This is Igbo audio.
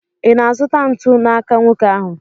Ị na-azụta ntu n'aka nwoke ahụ?